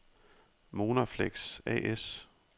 Monarflex A/S